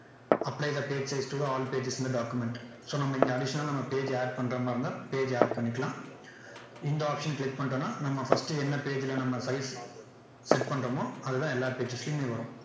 apply the page size to the all pages in the document so நம்ம இங்க additional லா நம்ம page add பண்ற மாதிரி இருந்தா page add பண்ணிக்கலாம் இந்த option அ click பண்ணிட்டோம்னா நம்ம first என்ன page ல நம்ம size set பண்றோமோ அது தான் எல்லா pages லயுமே வரும்